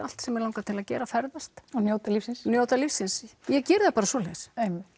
allt sem mig langar til að gera ferðast og njóta lífsins og njóta lífsins ég geri það bara svoleiðis